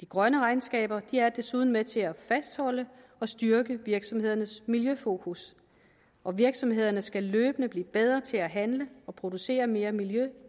de grønne regnskaber er desuden med til at fastholde og styrke virksomhedernes miljøfokus og virksomhederne skal løbende blive bedre til at handle og producere mere miljø